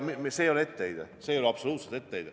See ei ole etteheide, see ei ole absoluutselt etteheide.